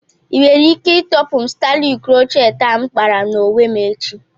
Inwere ike ịtọpụ m stailu crocheti a m kpara onwe m echi?